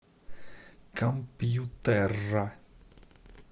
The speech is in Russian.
компьютерра